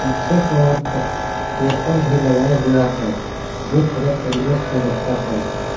पीछे एक और प पेपर भी लगाया गया है जो केंद्र से रहता है।